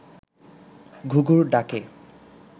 ঘুঘুর ডাকে